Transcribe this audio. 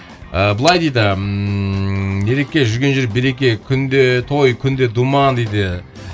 ы былай дейді ммм ереке жүрген жері береке күнде той күнде думан дейді